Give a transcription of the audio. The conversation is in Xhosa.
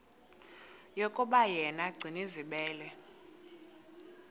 yokuba yena gcinizibele